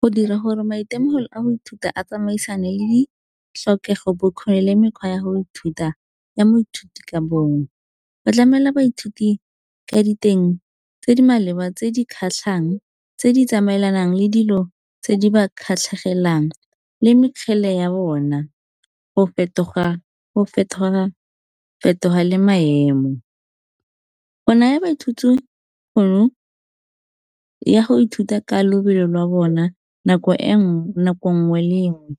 Go dira gore maitemogelo a moithuti a tsamaisane le di tlhokego bo kgoni le mekgwa ya go ithuta, ya moithuti ka bongwe. Ba tlamela baithuti ka diteng tse di maleba tse di kgatlhang tse di tsamaelanang le dilo tse di ba kgatlhegelang le mekgele ya bona go fetoga-fetoga le maemo. Go naya baithuti tšhono ya go ithuta ka lobelo lwa bona nako nngwe le nngwe